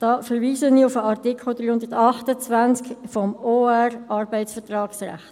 Dazu verweise ich auf den Artikel 328 des Schweizerischen Obligationenrechts (OR) zum Arbeitsvertragsrechts.